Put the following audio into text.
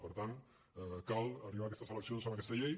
per tant cal arribar a aquestes eleccions amb aquesta llei